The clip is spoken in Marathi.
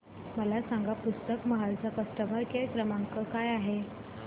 मला सांगा पुस्तक महल चा कस्टमर केअर क्रमांक काय आहे